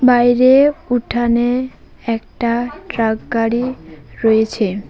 বাইরে উঠানে একটা ট্রাক গাড়ি রয়েছে।